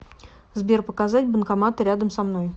сбер показать банкоматы рядом со мной